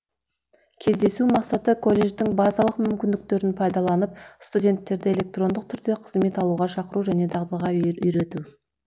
кездесу мақсаты колледждің базалық мүмкіндіктерін пайдаланып студенттерді электрондық түрде қызмет алуға шақыру және дағдыға үйрету